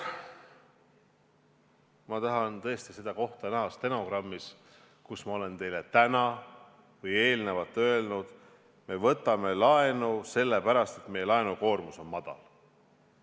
Ma tahan tõesti näha seda kohta stenogrammis, kus ma olen teile täna või eelnevalt öelnud, et me võtame laenu selle pärast, et meie laenukoormus on madal.